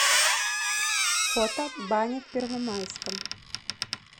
фото баня в первомайском